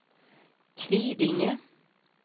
Kvidinge